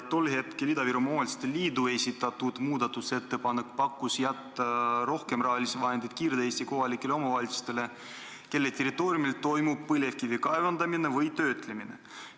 Tol hetkel oli Ida-Virumaa Omavalitsuste Liit esitanud muudatusettepaneku, et jätta rohkem rahalisi vahendeid Kirde-Eesti kohalikele omavalitsustele, kelle territooriumil toimub põlevkivi kaevandamine või töötlemine.